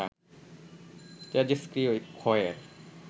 তেজষ্ক্রিয় ক্ষয়ের